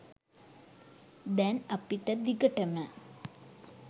දැන් අපිට දිගටම